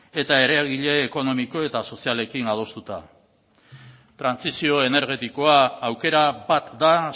eta eragile ekonomiko eta sozialekin adostuta trantsizio energetikoa aukera bat da